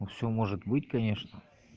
ну все может быть конечно